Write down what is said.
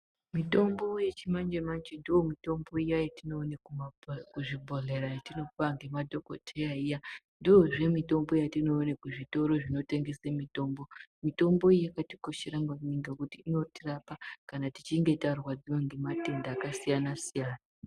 Mitombo yechimanje manj ndomitombo iya yetinoona kuzvobhodhera yetinopuwa ngemadhokodheya iya .Ndoozve mitombo yatinoone kuzvitoro zvinotengesa mitombo. Mitombo iyi yakatikoshera maningi ngekuti inotirapa kana tichinge tarwadziwa ngematenda akasiyanasiyana.